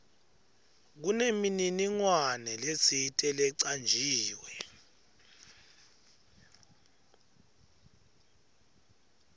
kunemininingwane letsite lecanjiwe